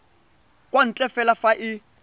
kwa ntle fela fa e